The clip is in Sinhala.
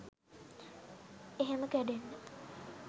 එහෙම කැඩෙන්න